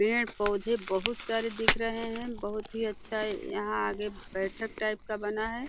पेड़-पौधे बहोत सारे दिख रहे हैं। बहोत ही अच्छा यहाँ आगे बैठक टाइप का बना है।